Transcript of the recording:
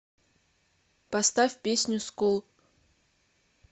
поставь песню скул